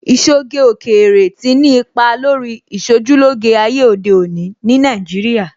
Ìṣoge òkèèrè tí ni ipa lórí Ìṣojúlóge ayé òde òní ní Nàìjíríà